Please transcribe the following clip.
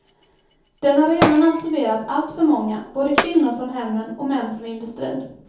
Den har redan absorberat alltför många, både kvinnor från hemmen och män från industrin.